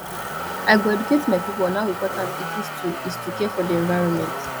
i go educate my pipo on how important it is to is to care for di environment